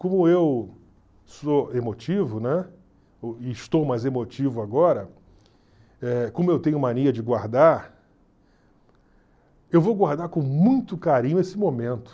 Como eu sou emotivo, né, e estou mais emotivo agora, eh como eu tenho mania de guardar, eu vou guardar com muito carinho esse momento.